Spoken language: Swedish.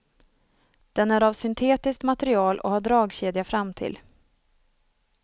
Den är av syntetiskt material och har dragkedja framtill.